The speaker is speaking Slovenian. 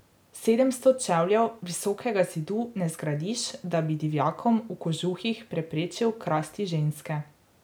Sedemsto čevljev visokega zidu ne zgradiš, da bi divjakom v kožuhih preprečil krasti ženske.